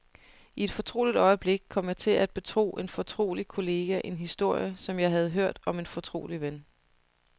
I et fortroligt øjeblik kom jeg til at betro en fortrolig kollega en historie, jeg havde hørt om en fortrolig ven.